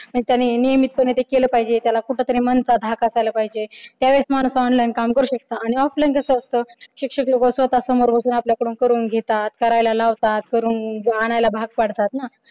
म्हणजे त्यांनी नियमित ते केलं पाहिजे त्याला म्हणत मनाचा धाक असायला पाहिजे त्या वेळेस माणूस online काम करू शकतो आणि offline कसं असतं शिक्षक लोक स्वतः बसून आपल्या कडून करून घेतात करायला लावतात करून आणायला भाग पाडतात ना.